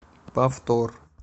повтор